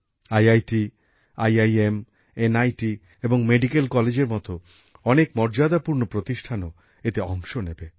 IIT IIM NIT এবং medical কলেজের মতো অনেক মর্যাদাপূর্ণ প্রতিষ্ঠানও এতে অংশ নেবে